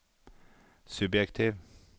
subjektiv